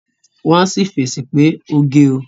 Wọ́n á sì fèsì pé oge o